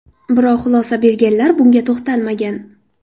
Biroq xulosa berganlar bunga to‘xtalmagan.